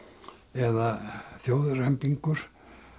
eða þjóðrembingur